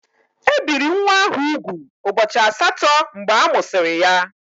E biri nwa ahụ úgwù ụbọchị asatọ mgbe amụsịrị ya.